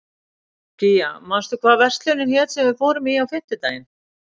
Gígja, manstu hvað verslunin hét sem við fórum í á fimmtudaginn?